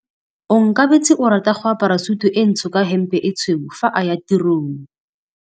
Onkabetse o rata go apara sutu e ntsho ka hempe e tshweu fa a ya tirong.